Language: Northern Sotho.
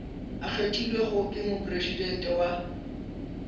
a kgethilwego ke mopresidente wa